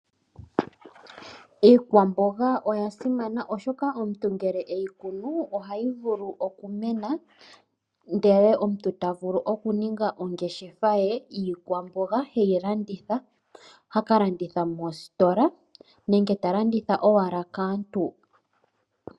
Iikwamboga oya simana oshoka omuntu ngele eyi kunu ohayi vulu okumena ndele omuntu ta vulu oku ninga ongeshefa ye yiikwamboga heyi landitha, haka landitha moostola nenge ta landitha owala kaantu.